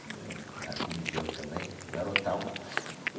Que eu né filho de Deus também, eu garotão.